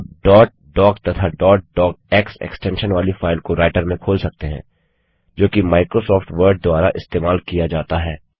आप dot doc तथा dot docx extension वाली फाइल को राइटर में खोल सकते हैं जोकि माइक्रोसॉफ्ट वर्ड द्वारा इस्तेमाल किया जाता है